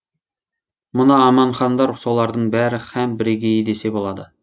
мына аманхандар солардың бірі һәм бірегейі десе болады